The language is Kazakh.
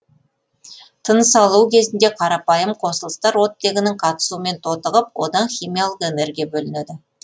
тынысалу кезінде қарапайым қосылыстар оттегінің қатысуымен тотығып одан химиялық энергия бөлінеді